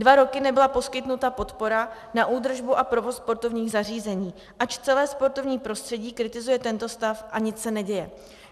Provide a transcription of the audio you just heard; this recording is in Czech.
Dva roky nebyla poskytnuta podpora na údržbu a provoz sportovních zařízení, ač celé sportovní prostředí kritizuje tento stav a nic se neděje.